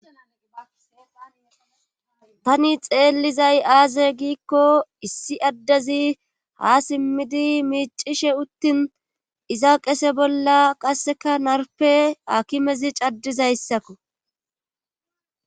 tani xeellizay aaze giikko issi addezi ha simmidi miicishe uttin iza qese bolla qasseka narpe akimezi caddizayssakko